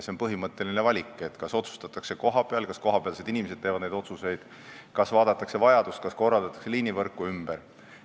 See on põhimõttelise valiku küsimus: kas otsustatakse kohapeal, kas kohapealsed inimesed teevad neid otsuseid, kas vaadatakse vajadust, kas liinivõrku korraldatakse ümber.